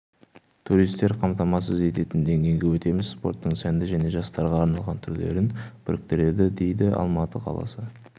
туристер қамтамасыз ететін деңгейге өтеміз спорттың сәнді және жастарға арналған түрлерін біріктіреді дейді алматы қаласы